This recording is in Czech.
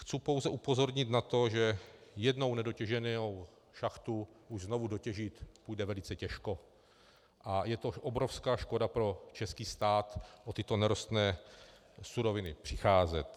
Chci pouze upozornit na to, že jednou nedotěženou šachtu už znovu dotěžit půjde velice těžko, a je to obrovská škoda pro český stát o tyto nerostné suroviny přicházet.